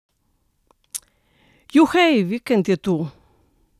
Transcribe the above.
Juhej, vikend je tu!